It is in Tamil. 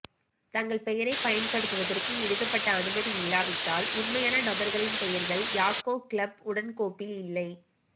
தங்கள் பெயரைப் பயன்படுத்துவதற்கு எழுதப்பட்ட அனுமதி இல்லாவிட்டால் உண்மையான நபர்களின் பெயர்கள் யாக்கோக் கிளப் உடன் கோப்பில் இல்லை